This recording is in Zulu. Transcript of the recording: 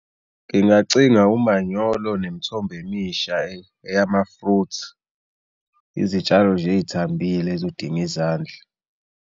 Ngingacinga umanyolo nemithombo emisha eyama-fruit, izitshalo nje ey'thambile ezodinga izandla.